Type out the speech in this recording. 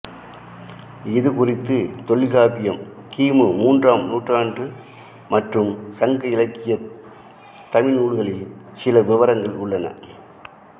இது குறித்து தொல்காப்பியம் கி மு மூன்றாம் நூற்றாண்டு மற்றும் சங்க இலக்கியத் தமிழ் நூல்களில் சில விவரங்கள் உள்ளன